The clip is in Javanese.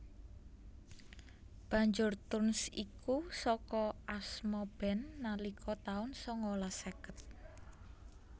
Banjur Tones iku saka asma band band nalika taun sangalas seket